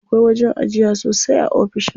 Akwai wajen ajiya sosai a ofishin.